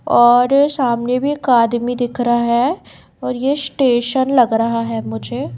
और सामने भी एक आदमी दिख रहा है और ये स्टेशन लग रहा है मुझे।